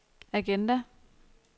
agenda